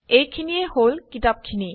এইখিনিয়েই হল কিতাপখিনি